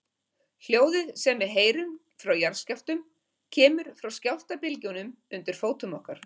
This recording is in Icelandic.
Hljóðið sem við heyrum frá jarðskjálftum kemur frá skjálftabylgjunum undir fótum okkar.